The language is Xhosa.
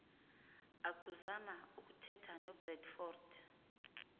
akuzama ukuthetha nobradford